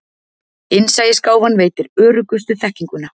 innsæisgáfan veitir öruggustu þekkinguna